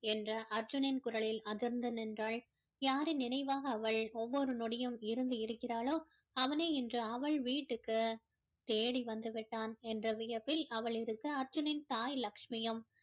என்ற அர்ஜுனின் குரலில் அதிர்ந்து நின்றாள் யாரின் நினைவாக அவள் ஒவ்வொரு நொடியும் இருந்து இருக்கிறாளோ அவனே இன்று அவள் வீட்டிற்கு தேடி வந்து விட்டான் என்ற வியப்பில் அவள் இருக்க அர்ஜுனின் தாய் லட்சுமியும்